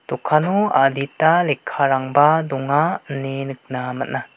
dokano adita lekkarangba donga ine nikna man·a.